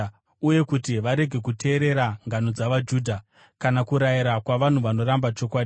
uye kuti varege kuteerera ngano dzavaJudha, kana kurayira kwavanhu vakaramba chokwadi.